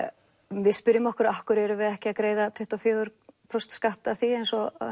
við spyrjum okkur af hverju erum við ekki að greiða tuttugu og fjögur prósent skatt af því eins og